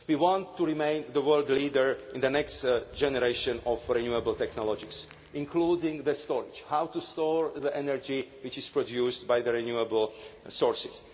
We want to remain the world leader in the next generation of renewable technologies, including storage how to store the energy which is produced by the renewable sources.